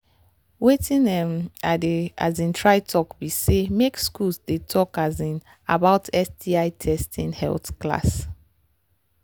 watin um i they try talk be say make school they talk um about sti testing health class